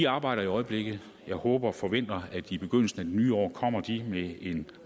arbejder i øjeblikket og jeg håber og forventer at de i begyndelsen af det nye år kommer med en